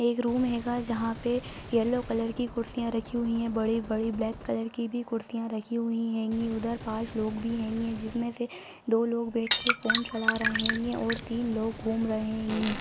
एक रूम हेंगा जहाँ पे येलो कलर की कुर्सियाँ रखी हुई हैं बड़े-बड़े ब्लैक कलर की भी कुर्सियाँ रखी हुई हेंगी उधर पांच लोग भी हेंगे जिसमें से दो लोग बैठ के फ़ोन चला रहे हेंगे और तीन लोग घूम रहे हेंगे।